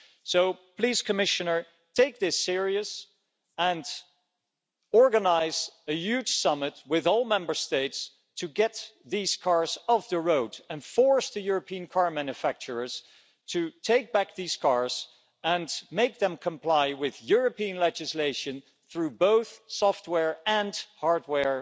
So please, Commissioner, take this seriously and organise a huge summit with all Member States to get these cars off the road and force European car manufacturers to take back these cars and make them comply with European legislation through both software and hardware